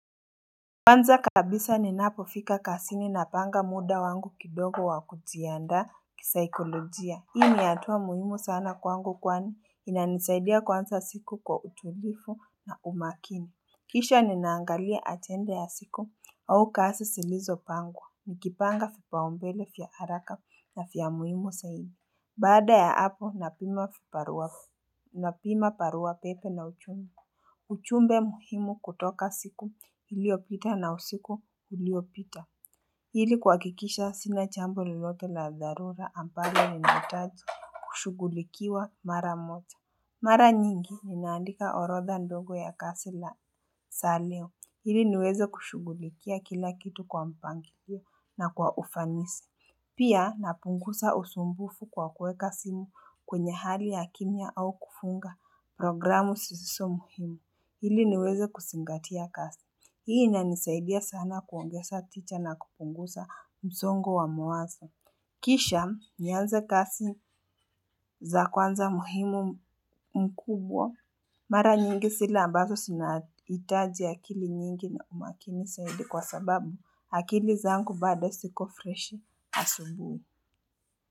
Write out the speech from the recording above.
Kwanza kabisa ninapofika kazini napanga muda wangu kidogo wakujianda kisaikolojia. Hii ni hatua muhimu sana kwangu kwani inanisaidia kuanza siku kwa utulivu na umakini Kisha ninaangalia ajenda ya siku au kazi zilizopangwa, nikipanga vipaumbele vya haraka na vya muhimu zaidi Baada ya hapo napima barua pepe na ujumbe ujumbe muhimu kutoka siku iliopita na usiku uliopita. Hili kuhakikisha sina jambo lolote la dharura ambalo linahitaji kushugulikiwa mara moja. Mara nyingi ninaandika orodha ndogo ya kazi za leo. Ili niweze kushughulikia kila kitu kwa mpangilio na kwa ufanisi. Pia napunguza usumbufu kwa kuweka simu kwenye hali ya kimya au kufunga programu zisizo muhimu. Ili niweze kuzingatia kazi. Hii inanisaidia sana kuongeza tija na kupunguza msongo wa mawazo. Kisha nianze kazi za kwanza muhimu mkubwa. Mara nyingi zile ambazo zinahitaji akili nyingi na umakini zaidi kwa sababu akili zangu bado ziko freshi asubuhi.